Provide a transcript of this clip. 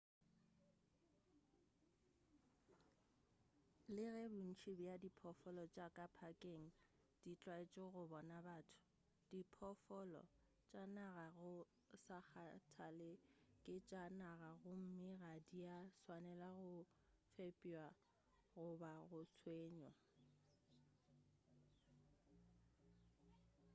le ge bontši bja diphoofolo tša ka phakeng di tlwaetše go bona batho diphoofolo tša naga go sa kgathale ke tša naga gomme ga dia swanelwa go fepjwa goba go tshwenywa